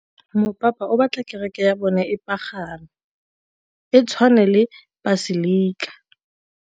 Mopapa o batla kereke ya bone e pagame, e tshwane le paselika.